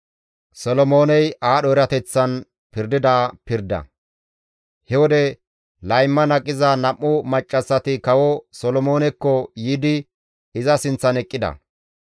He wode layman aqiza nam7u maccassati kawo Solomoonekko yiidi iza sinththan eqqida.